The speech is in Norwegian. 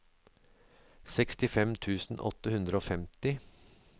sekstifem tusen åtte hundre og femti